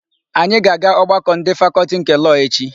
Anyị ga-aga ọgbakọ ndị Fakọltị nke Lọọ echi.